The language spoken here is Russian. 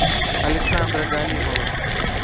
александра галимова